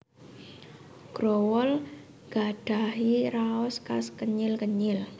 Growol nggadhahi raos khas kenyil kenyil